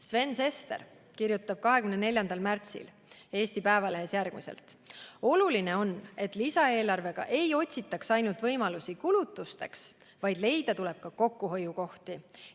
" Sven Sester kirjutab 24. märtsil Eesti Päevalehes järgmiselt: "Oluline on, et lisaeelarvega ei otsitaks ainult võimalusi kulutusteks, vaid leida tuleb ka kokkuhoiukohti.